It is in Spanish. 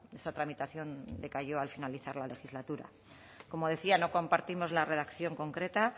esta tramitación decayó al finalizar la legislatura como decía no compartimos la redacción concreta